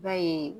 I b'a ye